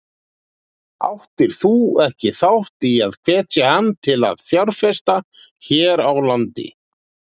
Áttir þú ekki þátt í að hvetja hann til að fjárfesta hér á landi?